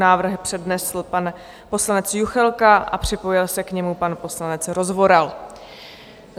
Návrh přednesl pan poslanec Juchelka a připojil se k němu pan poslanec Rozvoral.